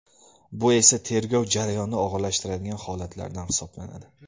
Bu esa tergov jarayonini og‘irlashtiradigan holatlardan hisoblanadi.